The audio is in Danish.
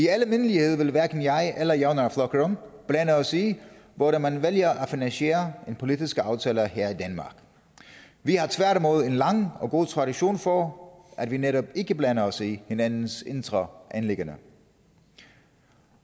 almindeligvis vil hverken jeg eller javnaðarflokkurin blande os i hvordan man vælger at finansiere en politisk aftale her i danmark vi har tværtimod en lang og god tradition for at vi netop ikke blander os i hinandens indre anliggender